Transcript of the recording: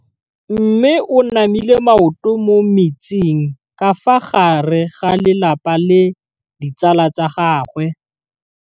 Mme o namile maoto mo mmetseng ka fa gare ga lelapa le ditsala tsa gagwe.